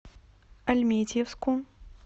альметьевску